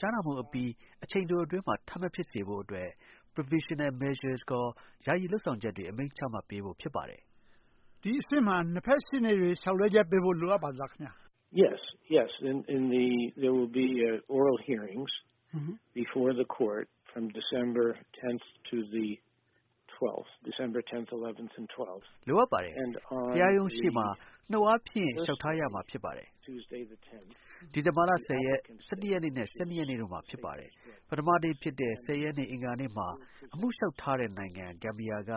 ကြားနာမှုအပြီး အချိန်အတိုအတွင်းမှာ ထပ်မဖြစ်စေဖို့အတွက် provisional measures ခေါ် ယာယီလုပ်ဆောင်ချက်တွေ အမိန့်ချဖို့ဖြစ်ပါတယ်။ ဒီအဆင့်မှာ ၂ ဘက် ရှေ့နေတွေ လျှောက်လွှဲချက်ပေးဖို့ လိုအပ်ပါသလား။ လိုအပ်ပါတယ် တရားရုံးရှေ့မှာ နှုတ်အားဖြင့် လျှောက်ထားရမှာ ဖြစ်ပါတယ်။ ဒီဇင်ဘာလ ၁၀ ရက်၊ ၁၁ ရက်နဲ့ ၁၂ ရက်နေ့တို့မှာ ဖြစ်ပါတယ်။ ပထမနေ့ဖြစ်တဲ့ ၁၀ ရက်နေ့ အင်္ဂါနေ့မှာ အမှုလျှောက်ထားတဲ့ နိုင်ငံ ဂမ်ဘီယာက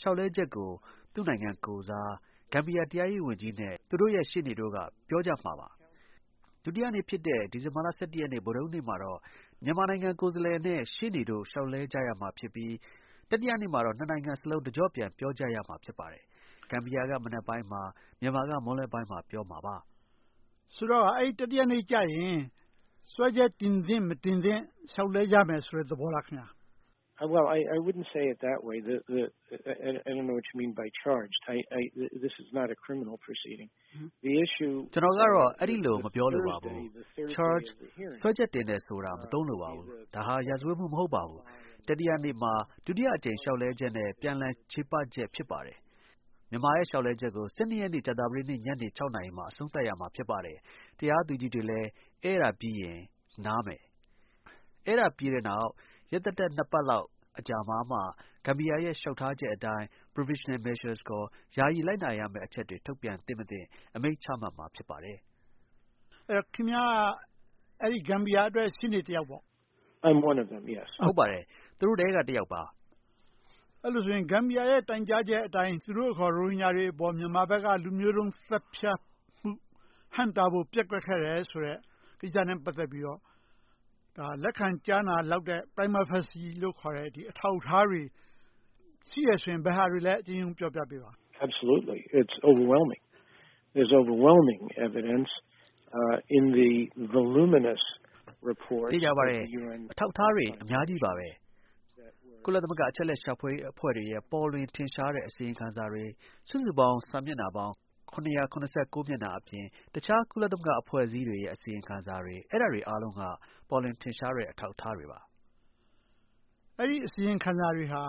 လျှောက်လွှဲချက်ကို သူ့နိုင်ငံကိုယ်စား ဂမ်ဘီယာတရားရေးဝန်ကြီးနဲ့ သူတို့ရဲ့ ရှေ့နေတို့က ပြောကြမှာပါ။ ဒုတိယနေ့ဖြစ်တဲ့ ဒီဇင်ဘာလ ၁၁ ရက်နေ့မှာတော့ မြန်မာနိုင်ငံ ကိုယ်စားလှယ်နဲ့ ရှေ့နေတို့ လျှောက်လဲကြရမှာဖြစ်ပြီး တတိယနေ့မှာတော့ ၂ နိုင်ငံစလုံး တကျော့ပြန် ပြောကြရမှာ ဖြစ်ပါတယ်။ ဂမ်ဘီယာက မနက်ပိုင်းမှာ မြန်မာက မွန်းလွှဲပိုင်းမှာ ပြောမှာပါ။ ဆိုတော့ အဲဒီ တတိယနေ့ ကျရင် စွဲချက် တင်သင့် ၊ မတင်သင့် လျှောက်လွှဲကြမယ်ဆိုတဲ့ သဘောလား။ ကျနော်ကတော့ အဲဒီလို မပြောလိုပါဘူး။ စွဲချက်တင်တယ်ဆိုတာ မသုံးလိုပါဘူး။ ဒါဟာ ရာဇဝတ်မှု မဟုတ်ပါဘူး။ တတိယနေ့မှာ ဒုတိယအကြိမ် လျှောက်လွှဲချက်နဲ့ ပြန်လည်ချေပချက် ဖြစ်ပါတယ်။ မြန်မာရဲ့ လျှောက်လွှဲချက်ကို ၁၂ ရက်နေ့ ကြာသပတေးနေ့ ညနေ ၆ နာရီမှာအဆုံးသတ်ရမှာ ဖြစ်ပါတယ်။ တရားသူကြီးတွေလည်း အဲဒါပြီးရင် နားမယ်။ အဲဒါပြီးတဲ့နောက် ၂ ပတ်လောက်အကြာမှာမှ ဂမ်ဘီယာ လျှောက်ထားချက်အတိုင်း provisional measures ခေါ် ယာယီလိုက်နာရမယ့်အချက်တွေ ထုတ်ပြန်သင့်မသင့် အမိန့်ချမှတ်မှာ ဖြစ်ပါတယ်။ ခင်ဗျားက ဂမ်ဘီယာအတွက် ရှေ့နေတယောက်ပေါ့။ ဟုတ်ပါတယ် သူတို့ထဲက တယောက်ပါ။ အဲလိုဆိုရင် ဂမ်ဘီယာရဲ့ တိုင်ကြားချက်အတိုင်း သူတို့အခေါ် ရိုဟင်ဂျာတွေကို မြန်မာဘက်က လူမျိုးတုံးသတ်ဖြတ်မှု ဟန့်တားဖို့ ပျက်ကွက်ခဲ့တယ်ဆိုတဲ့ ကိစ္စနဲ့ ပတ်သက်ပြီးတော့ လက်ခံကြားနာလောက်တဲ့ Prima facie လို့ခေါ်တဲ့ အထောက်အထားတွေ ရှိတယ်ဆိုရင် ဘယ်ဟာတွေလဲဆိုတာ အရင်ဆုံးပြောပြပေးပါ။ သေချာပါတယ် အထောက်အထားတွေ အများကြီးပါပဲ။ ကုလသမဂ္ဂ အချက်အလက် ရှာဖွေရေးအဖွဲ့တွေရဲ့ ပေါ်လွင်ထင်ရှားတဲ့ အစီရင်ခံစာတွေ ၊ စုစုပေါင်း စာမျက်နှာပေါင်း ၇၇၉ မျက်နှာအပြင် တခြား ကုလအဖွဲ့အစည်းတွေရဲ့ အစီရင်ခံစာတွေ အဲဒါတွေ အားလုံးက ပေါ်လွင်ထင်ရှားတဲ့ အထောက်အထားတွေပါ။ အစီရင်ခံစာတွေဟာ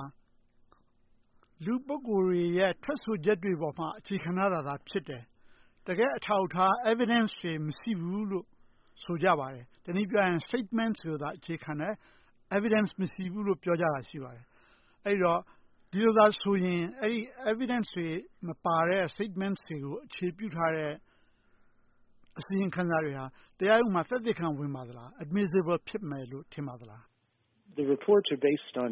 လူပုဂိုလ်တွေရဲ့ ထွက်ဆိုချက်တွေအပေါ်မှာ အခြေခံထားတာဖြစ်တယ်၊ တကယ့်အထောက်အထား Evidence တွေမရှိဘူးလို့ ဆိုပါတယ်။ တနည်းပြောရရင် Statement တွေကိုသာ အခြေခံတယ်၊ Evidence တွေမရှိဘူးလို့ပြောတာရှိပါတယ်။ ဆိုတော့ Evidence တွေမပါတဲ့ Statement တွေကို အခြေပြုတဲ့ အစီရင်ခံစာတွေဟာ တရားရုံးမှာ သက်သေခံ ဝင်ပါသလား။ admissible ဖြစ်မယ်လို့ ထင်ပါသလား အစီရင်ခံစာတွေဟာ အထော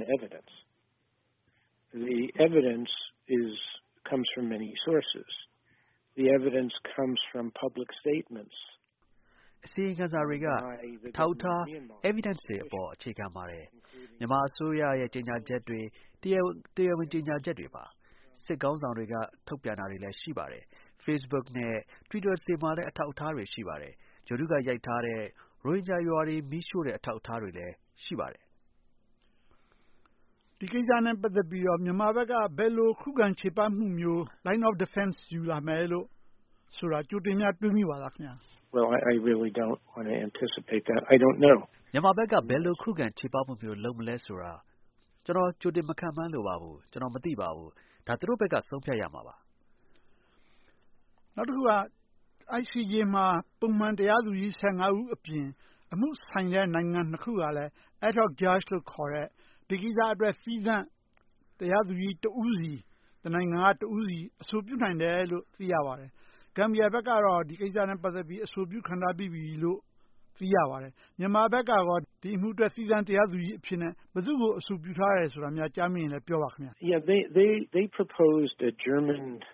က်အထား Evidence တွေ အပေါ် အခြေခံပါတယ်။ မြန်မာအစိုးရရဲ့ ကြေညာချက်တွေ တရားဝင် ကြေညာချက်တွေပါ။ စစ်ခေါင်းဆောင်တွေက ထုတ်ပြန်တာတွေလည်း ရှိပါတယ်။ facebook နဲ့ Twitter တွေမှာလည်း အထောက်အထားတွေရှိပါတယ်။ ဂြိုဟ်တု က ရိုက်ထားတဲ့ ရိုဟင်ဂျာရွာတွေ မီးရှို့တဲ့ အထောက်အထားတွေလည်း ရှိပါတယ်။ ဒီကိစ္စနဲ့ ပတ်သက်ပြီးတော့ မြန်မာဘက်က ဘယ်လို ခုခံချေပမှုမျိုး Line of defense ယူလာမယ်လို့ဆိုတာ ကြိုတင် တွေးမိပါသလား။ မြန်မာဘက်က ဘယ်လို ခုခံချေပမှုမျိုးလုပ်မလဲဆိုတာ ကျနော်ကြိုတင် မခန့်မှန်းလိုပါဘူး။ ကျနော်မသိပါဘူး။ ဒါ သူတို့ဘက်က ဆုံးဖြတ်ရမှာပါ။ နောက်တခုက ICJ မှာ ပုံမှန် တရားသူကြီး ၁၅ ဦး အပြင် အမှုဆိုင်တဲ့ နိုင်ငံ ၂ ခုက ad hoc judge လို့ခေါ်တဲ့ ဒီကိစ္စအတွက် သီးသန့် တရားသူကြီး တနိုင်ငံက တဦးစီ အဆိုပြုနိုင်တယ်လို့ သိရပါတယ်။ ဂမ်ဘီယာဘက်ကတော့ ဒီကိစ္စနဲ့ ပတ်သက်ပြီး အဆိုပြုခံထားပြီးပြီလို့ သိရပါတယ်။ မြန်မာဘက်ကရော ဒီအမှုအတွက် သီးသန့် တရားသူကြီးအဖြစ် ဘယ်သူ့ကို အဆိုပြုထားတယ်ဆိုတာများကြားမိရင်လည်း ပြောပါခင်ဗျ။ ဂျာမန် ဥပ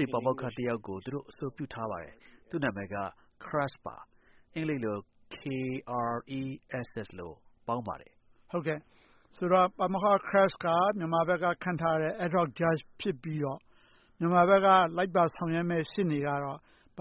ဒေ ပါမောက္ခ တယောက်ကို သူတို့ အဆိုပြုထားပါတယ် သူ့နာမည်က Kress ပါ။ ဆိုတော့ ပါမောက္ခ Kress က မြန်မာဘက်က ခန့်ထားတဲ့ ad hoc judge ဖြစ်ပြီးတော့ မြန်မာဘက်က လိုက်ပါဆောင်ရွက်မယ့် ရှေ့နေကတော့ ပ